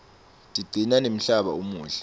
tigcina nemhlaba umuhle